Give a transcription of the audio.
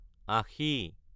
আশি